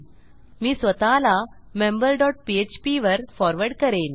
मी स्वतःला member dot PHP वर forward करेन